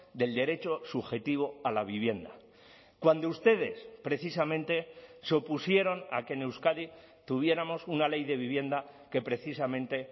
del derecho subjetivo a la vivienda cuando ustedes precisamente se opusieron a que en euskadi tuviéramos una ley de vivienda que precisamente